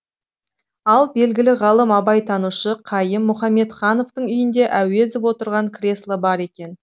ал белгілі ғалым абайтанушы қайым мұхамедхановтың үйінде әуезов отырған кресло бар екен